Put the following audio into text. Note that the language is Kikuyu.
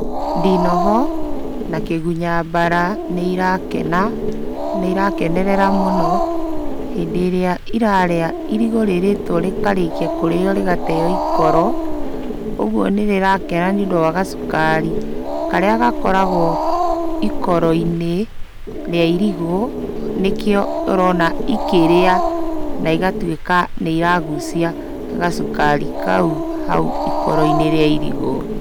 Ndinoho, na kĩgunya mbara nĩ irakena. Nĩ irakenerera mũno hĩndĩ ĩrĩa irarĩa, irigũ rĩrĩtwo rĩkarĩkia kũrĩo rĩgateo ikoro, ũgwo nĩ rĩrakena nĩ ũndũ wa gacukarĩ, karĩa gakoragwo ikoro-inĩ rĩa irigũ, nĩkĩo ũrona ikĩrĩa na igatwĩka nĩ iragucia gacukari kau hau ikoro-inĩ rĩa irigũ.